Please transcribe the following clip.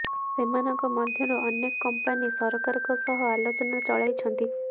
ସେମାନଙ୍କ ମଧ୍ୟରୁ ଅନେକ କମ୍ପାନୀ ସରକାରଙ୍କ ସହ ଆଲୋଚନା ଚଳାଇଛନ୍ତି